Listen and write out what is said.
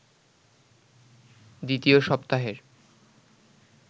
দ্বিতীয় সপ্তাহের